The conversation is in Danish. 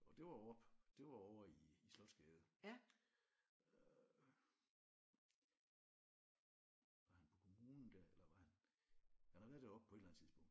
Og det var oppe det var ovre i i Slotsgade øh var han på kommunen der eller var han han har været deroppe på et eller andet tidspunkt